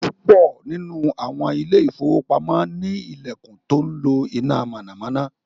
púpọ nínú awọn Ilé ìfowópamọ́ ni ilẹkùn tó ńlo iná mọ̀nàmọ́ná